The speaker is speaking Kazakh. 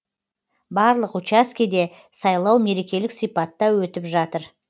барлық учаскеде сайлау мерекелік сипатта өтіп жатыр